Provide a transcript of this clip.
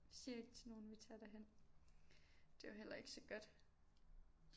Vi siger ikke til nogen vi tager derhen det er jo heller ikke så godt